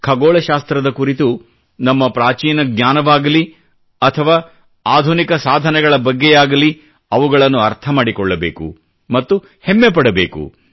ಖಗೋಳ ಶಾಸ್ತ್ರದ ಕುರಿತು ನಮ್ಮ ಪ್ರಾಚೀನ ಜ್ಞಾನವಾಗಲಿ ಅಥವಾ ಆಧುನಿಕ ಸಾಧನೆಗಳ ಬಗ್ಗೆಯಾಗಲಿ ಅವುಗಳನ್ನು ಅರ್ಥ ಮಾಡಿಕೊಳ್ಳಬೇಕು ಮತ್ತು ಹೆಮ್ಮೆ ಪಡಬೇಕು